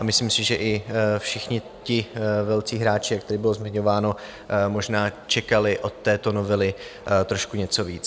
A myslím si, že i všichni ti velcí hráči, jak tady bylo zmiňováno, možná čekali od této novely trošku něco víc.